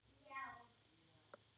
Einn slíkan tók ég tali.